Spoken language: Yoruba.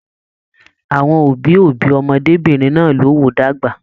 Àwọn òbí òbí ọmọdébinrin náà ló wò dàgbà.